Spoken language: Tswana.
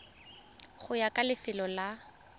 go ya ka lefelo la